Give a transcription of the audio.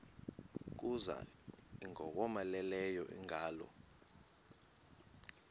kuza ingowomeleleyo ingalo